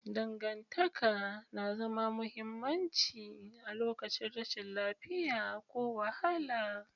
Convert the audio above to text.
Dangantaka na zama mahimmanci a lokacin rashin lafiya ko wahala.